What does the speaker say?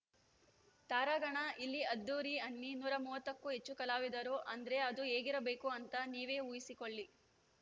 ತಾರಾಗಣ ಇಲ್ಲಿ ಅದ್ಧೂರಿ ಅನ್ನಿ ನೂರ ಮೂವತ್ತಕ್ಕೂ ಹೆಚ್ಚು ಕಲಾವಿದರು ಅಂದ್ರೆ ಅದು ಹೇಗಿರಬೇಕು ಅಂತ ನೀವೆ ಉಹಿಸಿಕೊಳ್ಳಿ